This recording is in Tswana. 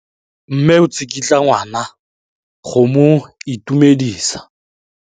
Mme o tsikitla ngwana go mo itumedisa.